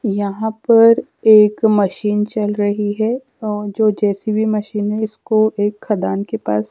यहां पर एक मशीन चल रही है और जो जे_सी_बी मशीन है इसको एक खदान के पास--